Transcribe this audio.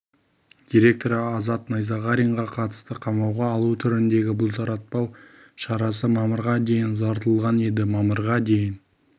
директоры азат найзағаринаға қатысты қамауға алу түріндегі бұлтартпау шарасы мамырға дейін ұзартылған еді мамырға дейін